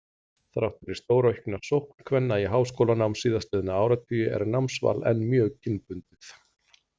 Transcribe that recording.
Þrátt fyrir stóraukna sókn kvenna í háskólanám síðastliðna áratugi er námsval enn mjög kynbundið.